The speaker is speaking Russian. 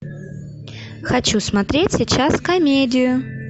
хочу смотреть сейчас комедию